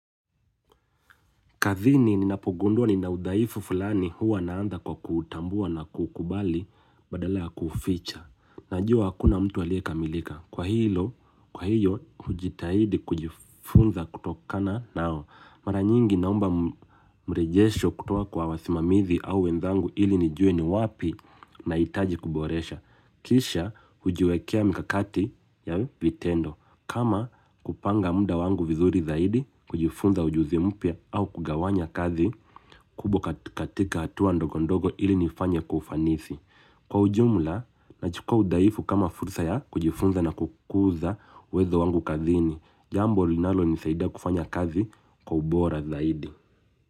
Kathini ninapogundua nina udhaifu fulani huwa naantha kwa kuutambua na kuukubali badala ya kuuficha. Najua hakuna mtu aliye kamilika. Kwa hilo, kwa hiyo, hujitahidi kujifunza kutokana nao. Mara nyingi naomba mrejesho kutoka kwa wasimamizi au wenzangu ili nijue ni wapi nahitaji kuboresha. Kisha, hujiwekea mikakati ya vitendo. Kama kupanga mda wangu vizuri zaidi kujifunza ujuzi mpya au kugawanya kazi kubwa kat katika hatua ndogo ndogo ili nifanye kwa ufanisi. Kwa ujumla, nachukua udhaifu kama fursa ya kujifunza na kukuza uwezo wangu kazini. Jambo linalo nisaida kufanya kazi kwa ubora zaidi.